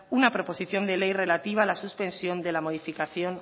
una proposición de ley relativa a la suspensión de la modificación